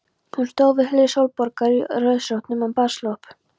Hún stóð við hlið Sólborgar í rauðrósóttum baðslopp.